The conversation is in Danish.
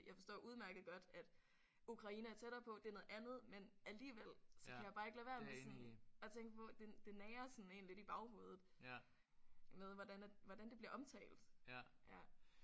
Jeg forstår udmærket godt at Ukraine er tættere på. Det er noget andet men alligevel så kan jeg bare ikke lade være med sådan at tænke på det det nager sådan en lidt i baghovedet med hvordan at hvordan det bliver omtalt